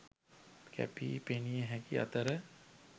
කැපී පෙනිය හැකි අතර